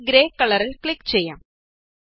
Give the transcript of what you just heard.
നമുക്ക് ഗ്രേ കളറില് ക്ലിക് ചെയ്യാം